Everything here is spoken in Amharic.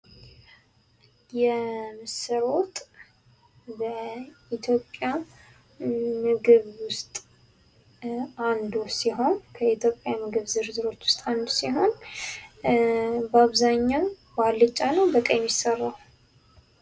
የምስር ወጥ በኢትዮጵያ ምግብ ውስጥ አንዱ ሲሆን ከኢትዮጵያ የምግብ ዝርዝሮች ውስጥ አንዱ ሲሆን በአብዛኛው በአልጫ ነው በቀይ ነው የሚሰራው?